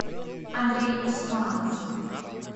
андрей усманов